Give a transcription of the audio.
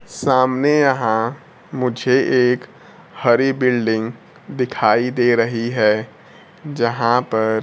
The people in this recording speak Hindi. सामने यहां मुझे एक हरी बिल्डिंग दिखाई दे रही है यहां पर--